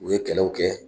U ye kɛlɛw kɛ